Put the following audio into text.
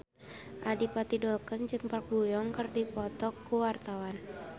Adipati Dolken jeung Park Bo Yung keur dipoto ku wartawan